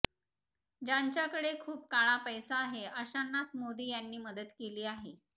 ज्यांच्याकडे खूप काळा पैसा आहे अशांनाच मोदी यांनी मदत केली आहे